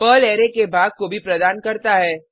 Perl array के भाग को भी प्रदान करता है